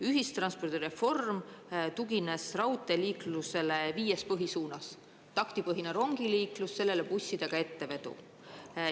Ühistranspordireform tugines raudteeliiklusele viies põhisuunas: taktipõhine rongiliiklus, sellele bussidega ettevedu.